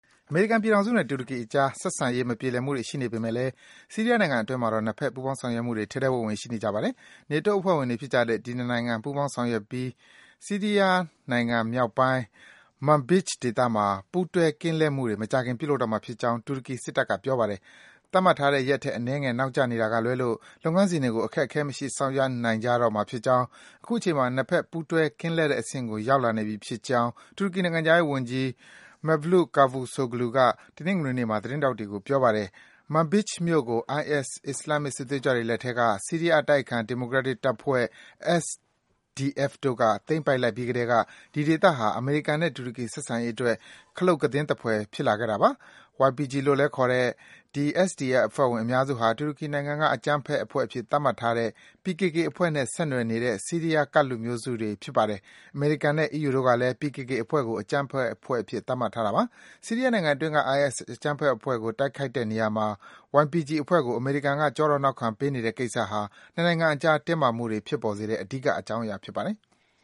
အမေရိကန်ပြည်ထောင်စုနဲ့ တူရကီနိုင်ငံအကြား ဆက်ဆံရေး မပြေလည်မှုတွေ ရှိနေပေမယ့်လည်း ဆီရီးယားနိုင်ငံအတွင်းမှာတော့ နှစ်ဘက် ပူးပေါင်းဆောင်ရွက်မှုတွေ ထဲထဲဝင်ဝင် ရှိနေပါတယ်။ နေတိုးအဖွဲ့ဝင်တွေ ဖြစ်ကြတဲ့ ဒီ ၂ နိုင်ငံ ပူးပေါင်းပြီး ဆီးရီးယားနိုင်ငံမြောက်ပိုင်း Manbij ဒေသမှာ ပူးတွဲ ကင်းလှည့်မှုတွေ မကြာခင်မှာ ပြုလုပ်ကြတော့မှာဖြစ်ကြောင်း တူရကီစစ်တပ်က ပြောပါတယ်။ သတ်မှတ်ထားတဲ့ရက်ထက် အနည်းငယ် နောက်ကျနေတာကလွဲလို့ လုပ်ငန်းစဉ်တွေကို အခက်အခဲမရှိ ဆောင်ရွက်နိုင်ကြတော့မှာ ဖြစ်ကြောင်း၊ အခုချိန်မှာ နှစ်ဘက် ပူးတွဲ ကင်းလှည့်တဲ့အဆင့်ကို ရောက်လာနေပြီဖြစ်ကောင်း တူရကီနိုင်ငံခြားရေးဝန်ကြီး Mevlut Cavusoglu က တနင်္ဂနွေနေ့မှာ သတင်းထောက်တွေကို ပြောပါတယ်။ Manbij မြို့ကို IS အစ္စလာမ်မစ် စစ်သွေးကြွတွေလက်ထဲက ဆီးရီးယားအတိုက်အခံ ဒီမိုကရက်တစ် တပ်ဖွဲ့ SDF တို့က သိမ်းပိုက် လိုက်ပြီးကတည်းက ဒီဒေသဟာ အမေရိကန်နဲ့ တူရကီ ဆက်ဆံရေးအတွက် ခလုတ်ကသင်းသဖွယ် ဖြစ်လာခဲ့တာပါ။ YPG လို့လည်း ခေါ်တဲ့ ဒီ SDF အဖွဲ့ဝင် အများစုဟာ တူရကီအစိုးရက အကြမ်းဖက်အဖွဲ့အဖြစ် သတ်မှတ်ထားတဲ့ PKK အဖွဲ့နဲ့ ဆက်နွယ်နေတဲ့ ဆီးရီးယား ကဒ်လူမျိုးစုတွေ ဖြစ်ပါတယ်။ အမေရိကန်နဲ့ အီးယူတို့ကလည်း PKK အဖွဲ့ကို အကြမ်းဖက် အဖွဲ့အစည်းအဖြစ် သတ်မှတ်ထားတာပါ။ ဆီးရီးယားနိုင်ငံအတွင်းက IS အကြမ်းဖက်အဖွဲ့ကို တိုက်ခိုက်တဲ့နေရာမှာ YPG အဖွဲ့ကို အမေရိကန်က ကျောထောက် နောက်ခံပေးနေတဲ့ ကိစ္စဟာ နှစ်နိုင်ငံအကြား တင်းမာမှုတွေ ဖြစ်ပေါ်စေတဲ့ အဓိက အကြောင်းအရာ ဖြစ်ပါတယ်။